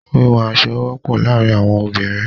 Wíwún aṣọ wọpọ laarin awọn obinrin